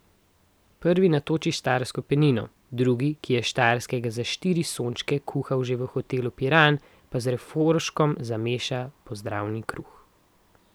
Prvi natoči štajersko penino, drugi, ki je s Štajerskega za štiri sončke kuhal že v hotelu Piran, pa z refoškom zameša pozdravni kruh.